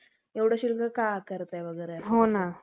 एवढं शुल्क का आकारताय वगैरे